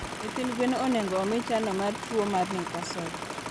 Nyithi gwen onego omigi chano mar tuwo mar Newcastle.